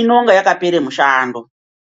inenge yakapere mushando